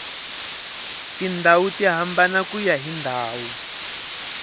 tindluwa ti hambana kuya hi ndhawu